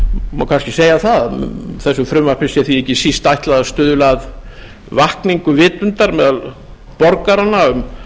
má kannski segja að þessu frumvarpi sé því ekki síst ætlað að stuðla að vakningu vitundar meðal borgaranna um